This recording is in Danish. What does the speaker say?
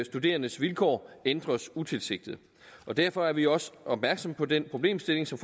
studerendes vilkår ændres utilsigtet og derfor er vi også opmærksomme på den problemstilling som